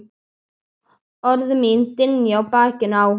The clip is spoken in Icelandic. Orð mín dynja á bakinu á honum.